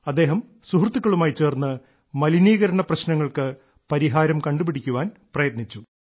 അദ്ദേഹം സുഹൃത്തുക്കളുമായി ചേർന്ന് മലിനീകരണ പ്രശ്നങ്ങൾക്ക് പരിഹാരം കണ്ടുപിടിക്കാൻ പ്രയത്നിച്ചു